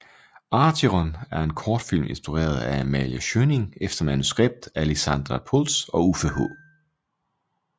Acheron er en kortfilm instrueret af Amalie Schjønning efter manuskript af Lizandra Pultz og Uffe H